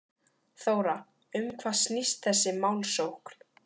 Þóra, um hvað snýst þessi málsókn?